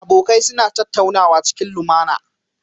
Abokai suna tattaunawa cikin limAna